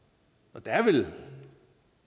der er vel